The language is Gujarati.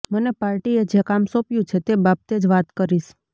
મને પાર્ટીએ જે કામ સોંપ્યું છે તે બાબતે જ વાત કરીશ